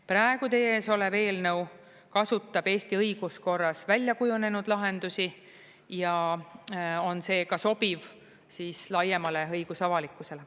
Praegu teie ees olev eelnõu kasutab Eesti õiguskorras välja kujunenud lahendusi ja on seega sobiv laiemale õigusavalikkusele.